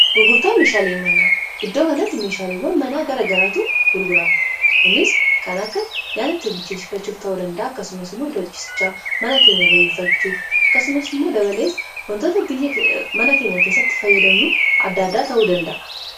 Gurgurtaa meeshaalee mana iddoo kanatti meshaaleewwan manaa garagaraatu gurgurama kunis kan akka nyaata ittiin bilcheessiffachuuf ta'uu danda'a akkasumas immoo iddo cisichaa mana keenya bareeffachuuf akkasumas immoo dabalees wantoota mana keenya keessatti fayyadamnu adda addaa ta'uu danda'a.